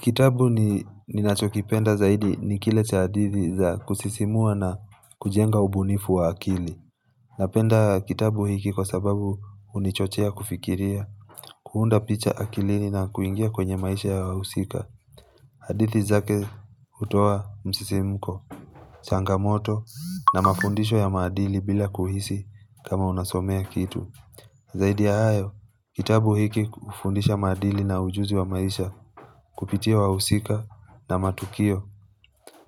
Kitabu ni nachokipenda zaidi ni kile cha hadithi za kusisimua na kujenga ubunifu wa akili Napenda kitabu hiki kwa sababu hunichochia kufikiria kuunda picha akilini na kuingia kwenye maisha ya wausika hadithi zake hutoa msisimuko, changamoto na mafundisho ya maadili bila kuhisi kama unasomea kitu Zaidi ya hayo, kitabu hiki ufundisha madili na ujuzi wa maisha kupitia wahusika na matukio